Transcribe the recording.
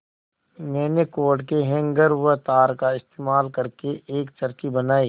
मैंने कोट के हैंगर व तार का इस्तेमाल करके एक चरखी बनाई